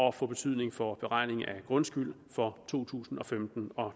og få betydning for beregningen af grundskyld for to tusind og femten og